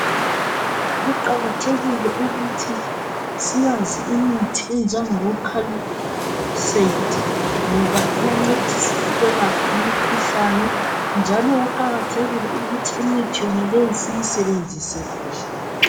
Kuqakathekile ukuthi siyazi imithi enjengabo colicaid ngoba iyancedisa ukwelapha imikhuhlane njalo kuqakathekile ukuthi imithi yonaleyo siyisebenzise kuhle .